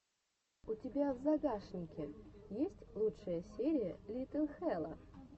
у тебя в загашнике есть лучшая серия лилит хэлла